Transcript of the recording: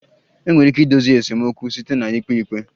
Enwere ike idozi esemokwu site na ikpe ikpe